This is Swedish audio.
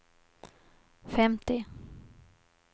femtio